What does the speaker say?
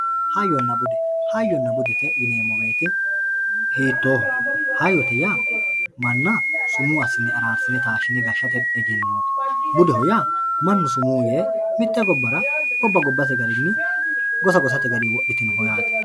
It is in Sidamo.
Hayyona bude hayyona bude yinemowoyite hiitoho hayyote yaa mana sumuu yaano gede asine gashate egenoti budeho uaa manu sumuu yee mite gobara goba gobate garini gosa gosate garini wodhitinoho yaate.